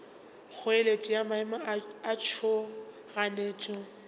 kgoeletšo ya maemo a tšhoganetšo